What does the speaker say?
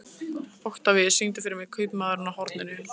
Oktavíus, syngdu fyrir mig „Kaupmaðurinn á horninu“.